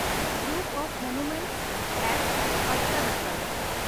ᱯᱟᱴᱛᱫᱟᱠᱚᱞ ᱨᱮᱭᱟᱜ ᱢᱚᱱᱩᱢᱮᱱᱴ ᱠᱚ